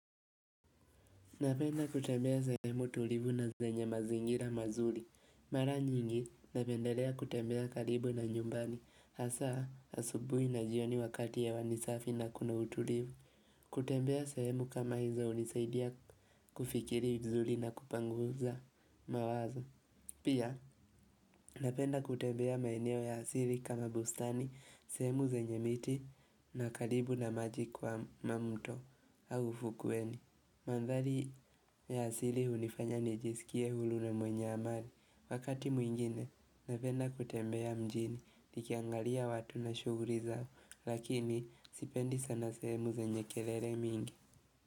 Napenda kutembea sehemu tulivu na zenye mazingira mazuri. Mara nyingi napendelea kutembea karibu na nyumbani. Hasa asubuhi na jioni wakati hewa ni safi na kuna utulivu. Kutembea sehemu kama hizo hunisaidia kufikiri vizuri na kupunguza mawazo. Pia napenda kutembea maeneo ya asili kama bustani, sehemu zenye miti na karibu na maji kwa na mto au ufukweni Mandhari ya asili hunifanya nijisikie huru na mwenye amani Wakati mwingine napenda kutembea mjini, nikiangalia watu na shughuli zao Lakini sipendi sana sehemu zenye kelele mingi.